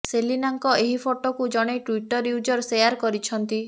ସେଲିନାଙ୍କ ଏହି ଫଟୋକୁ ଜଣେ ଟ୍ବିଟର ୟୁଜର ସେୟାର କରିଛନ୍ତି